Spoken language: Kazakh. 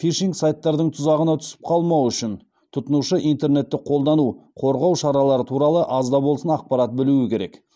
фишинг сайттардың тұзағына түсіп қалмау үшін тұтынушы интернетті қолдану қорғау шаралары туралы аз да болсын ақпарат білуі керек